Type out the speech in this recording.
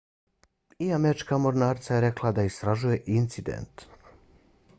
i američka mornarica je rekla da istražuje incident